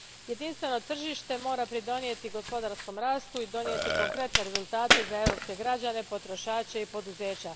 Jedinstveno tržište mora pridonijeti gospodarskom rastu i donijeti konkretne rezultate za europske građane, potrošače i poduzeća.